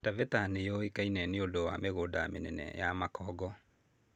Taveta nĩ yũĩkaine nĩ ũndũ wa mĩgũnda mĩnene ya makũngũ.